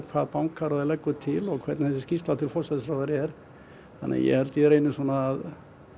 hvað bankaráð leggur til og hvernig þessi skýrsla til forsætisráðherra er þannig að ég held að ég reyni að